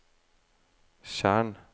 tjern